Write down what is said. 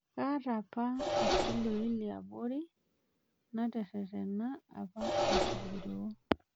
Kataa apa irkilio liabori natererena apa aiting'iroo.